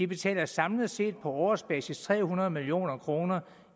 betaler samlet set på årsbasis tre hundrede million kroner